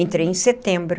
Entrei em setembro.